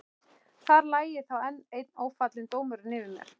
Þar lægi þá enn einn ófallinn dómurinn yfir mér.